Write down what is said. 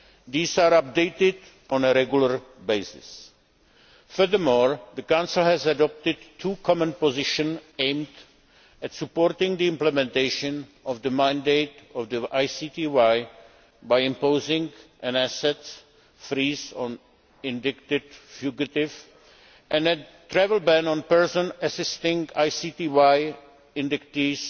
These are updated on a regular basis. Furthermore, the Council has adopted two common positions aimed at supporting the implementation of the mandate of the ICTY by imposing an assets freeze on indicted fugitives and a travel ban on persons assisting ICTY indictees